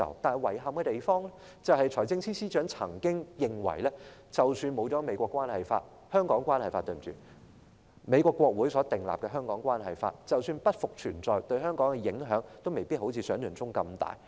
但遺憾地，財政司司長卻曾經表示，他認為即使沒有《美國關係法》——抱歉，應該是《香港關係法》——即使美國國會所訂立的《香港關係法》不復存在，對香港的影響也未必如想象中那麼大。